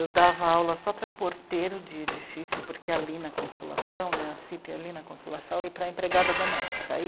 Eu dava aula só para porteiro de edifício, porque ali na consolação, a cê i pê ali na consolação, e para empregada doméstica.